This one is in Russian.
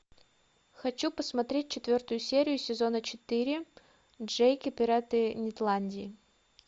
хочу посмотреть четвертую серию сезона четыре джейк и пираты нетландии